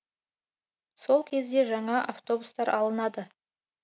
сол кезде жаңа автобустар алынады